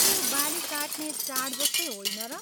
के यो बाली काट्ने चाड जस्तै होइन र?